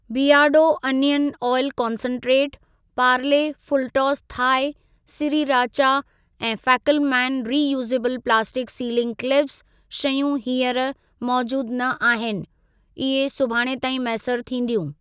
बीयरडो onion oil concentrate, Parle Fulltoss Thai sriracha ऐं Fackelmann reusable plastic sealing clips शयूं हींअर मौजूद न आहिनि। इहे सुभाणे ताईं मैसर थींदियूं।